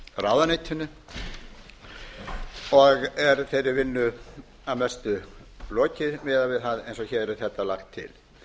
ráðuneytinu og er þeirri vinnu að mestu lokið miðað við það eins og þetta er lagt til